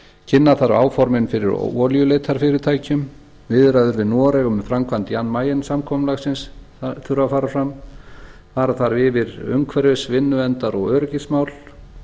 kynna þar áformin fyrir olíuleitarfyrirtækjum viðræður við noreg um framkvæmd jan mayen samkomulagsins þurfa að fara fram það þarf að fara yfir umhverfisvinnu verndar og öryggismál